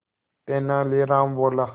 तेनालीराम बोला